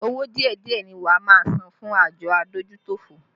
Owó díẹ̀díẹ̀ ni wá máa san fún àjọ adójútòfò